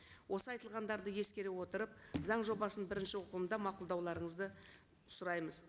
осы айтылғандарды ескере отырып заң жобасын бірінші оқылымда мақұлдауларыңызды сұраймыз